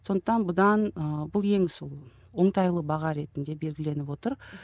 сондықтан бұдан ыыы бұл ең сол оңтайлы баға ретінде белгіленіп отыр